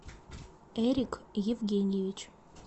эрик евгеньевич